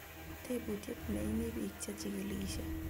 Tebutiet neiimi biik che jikilishei